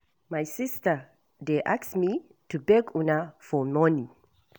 My sister dey ask me to beg una for money